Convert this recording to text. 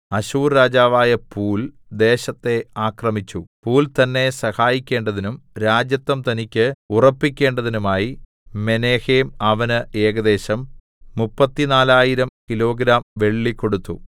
അശ്ശൂർ രാജാവായ പൂൽ ദേശത്തെ ആക്രമിച്ചു പൂൽ തന്നെ സഹായിക്കേണ്ടതിനും രാജത്വം തനിക്ക് ഉറപ്പിക്കേണ്ടതിനുമായി മെനഹേം അവന് ഏകദേശം 34000 കിലോഗ്രാം വെള്ളി കൊടുത്തു